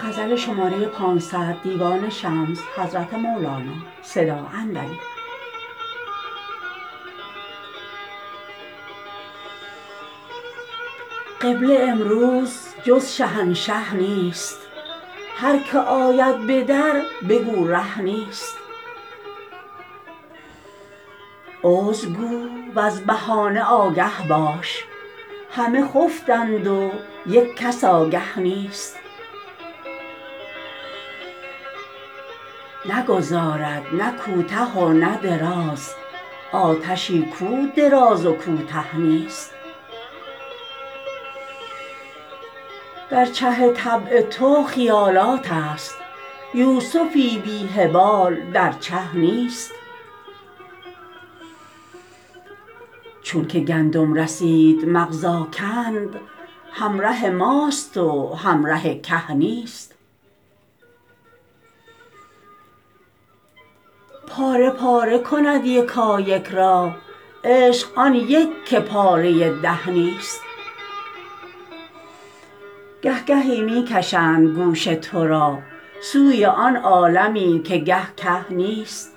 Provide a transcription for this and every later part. قبله امروز جز شهنشه نیست هر که آید به در بگو ره نیست عذر گو وز بهانه آگه باش همه خفتند و یک کس آگه نیست نگذارد نه کوته و نه دراز آتشی کو دراز و کوته نیست در چه طبع تو خیالاتست یوسفی بی خیال در چه نیست چون که گندم رسید مغز آکند همره ماست و همره که نیست پاره پاره کند یکایک را عشق آن یک که پاره ده نیست گه گهی می کشند گوش تو را سوی آن عالمی که گه گه نیست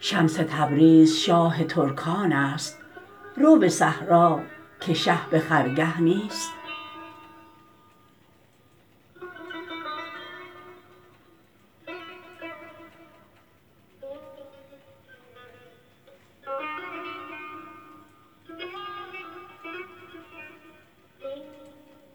شمس تبریز شاه ترکانست رو به صحرا که شه به خرگه نیست